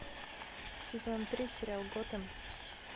сезон три сериал готэм